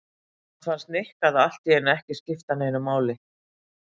Samt fannst Nikka það allt í einu ekki skipta neinu máli.